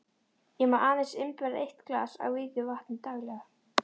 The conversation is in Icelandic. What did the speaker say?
Ég má aðeins innbyrða eitt glas af vígðu vatni daglega.